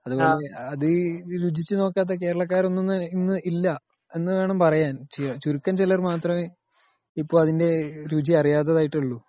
അത് രുചിച്ചു നോക്കാതെ കേരളക്കാർ ഒന്നും ഇന്ന് ഇല്ല എന്ന് വേണം പറയാൻ .ചുരുക്കം ചിലർ മാത്രമേ അതിന്റെ രുചി അറിയാത്തതായി ഉള്ളു